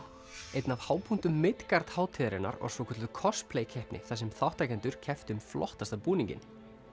einn af hápunktum hátíðarinnar var svokölluð keppni þar sem þátttakendur kepptu um flottasta búninginn